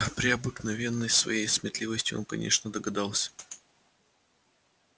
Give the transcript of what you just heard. при обыкновенной своей сметливости он конечно догадался